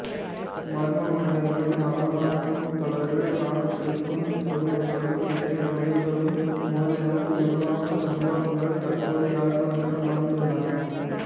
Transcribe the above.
மர்ம மனிதர்கள் நடமாட்டம் தொடர்பில் இராணுவத்தினருக்கும் பொதுமக்களுக்கும் இடையே முறுகலும் மோதலும் உருவான சம்பவங்கள் தற்போது யாழ்ப்பாணத்திலும் நடந்துள்ளன